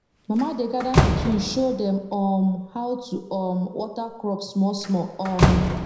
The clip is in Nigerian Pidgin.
mama dey gather pikin show dem um how to um water crop small small um